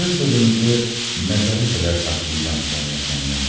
Sizin sırrınızı məzara qədər saxlayacam Sonya Semyonovna.